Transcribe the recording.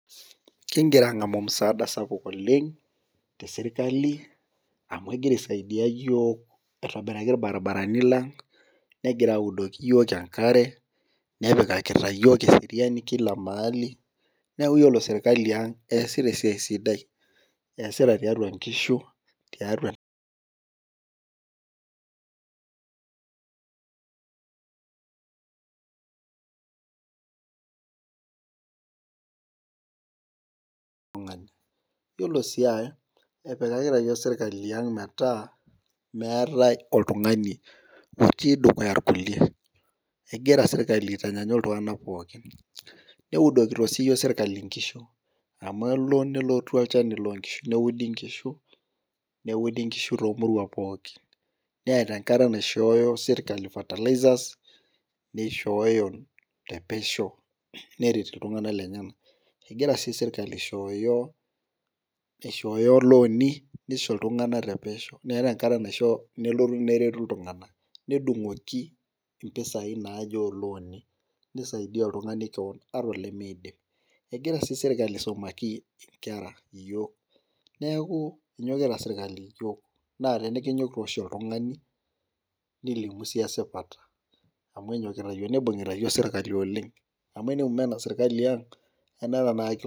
Kigira aangamu musaada sapuk oleng tesirkali. amu egira aisadia iyiook aitobiraki irbaribarano lang'.negira audoki iyiook enkare. nepikakita iyiook eseriani Kila maali. neeli. neeku iyiolo sirkali ang eesita esiai sidai. eesita tiatua nkishu tiatua oltungani. iyoolo sii epikakita iyiook sirkali ang metaa oltungani otii dukuya irkulie. egira sirkali aitanyaanyuk iltunganak pookin. neudokito sii iyiiook sirkali inkishu. amu elo nelotu olchani loo nkishu neudi nkishu. neudi nkishu toomuruan pookin. neeta enkata naishoo sirkali fertilizers neishooyo te pesho neret iltunganak lenyenak. egira sii sirkali aishooyo. aishoyo looni nisho iltunganak te pesho. meeta enkata nalotu nelotu neretu iltunganak. nedungoki mpisai naaje oolooni. nisaiidia oltungani kewon ata olemeidim. egira sii sirkali aisumaki nkera iyiook neeku enyokita sirkali iyiiook. naa tenikinyoru oshi oltungani nilimu. Sii esipata. amu enyokita iyiook, nibung'ita iyiook sirkali oleng. amu teneme ena sirkali ang anaata tenakata